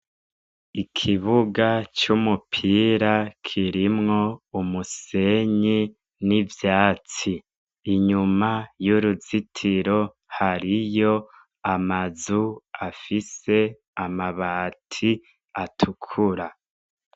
Ikibuga c' umupira kirimwo umusenyi n' ivyatsi inyuma yuruzitiro hariyo amazu afise amabati atukura.